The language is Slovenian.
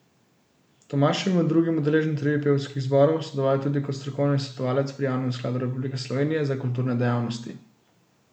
Tomaž je bil med drugim udeleženec revij pevskih zborov, sodeloval je tudi kot strokovni svetovalec pri Javnem skladu Republike Slovenije za kulturne dejavnosti.